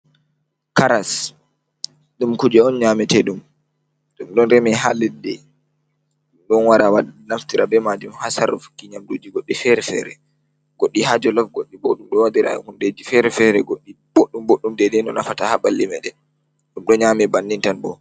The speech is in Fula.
Karas, ɗum ku je on nyametede ɗum. Ɗum don reme ha leddi. Ɗum ɗo wara naftira be majum ha sarrufukki nyamduji goɗɗi fere-fere. Goɗɗi ha jolof goɗɗi bo ɗum ɗo waɗire hundeji fere-fere, goɗɗi boddum, boddum. deidei no nafata ha ɓalli me ɗen ɗum ɗo nyame banni tan bo.